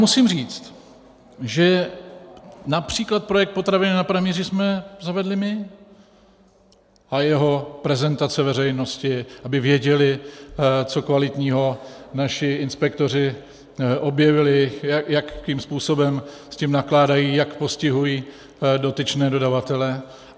Musím říct, že například projekt Potraviny na pranýři jsme zavedli my, a jeho prezentaci veřejnosti, aby věděli, co kvalitního naši inspektoři objevili, jakým způsobem s tím nakládají, jak postihují dotyčné dodavatele.